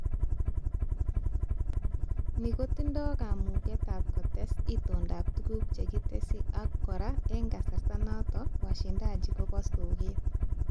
Ni kotindoi kamugetab kotes itondoab tuguk chekitesyi ak kora eng kasarta noto washindaji kobu soket